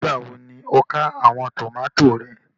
Nígbàwọ́ ni o kà awọn tomati rẹ?